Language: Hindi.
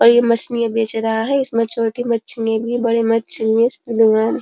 और यह मछलियां बेच रहा है। इसमें छोटी मछली बड़ी --